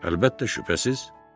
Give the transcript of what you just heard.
Əlbəttə, şübhəsiz.